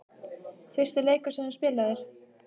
Fyrsti leikur sem þú spilaðir?